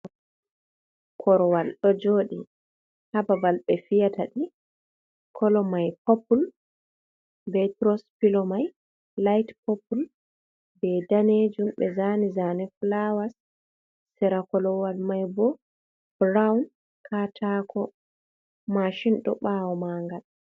Korowal ɗo jooɗi. ha babal be fiyatadi. kolo mai poppule. Be toros pilo mai laihte pople. Be danejum, be zani zane fulawar. Sera korowal mai bo burown. Katako mashin ɗo bawo man gal.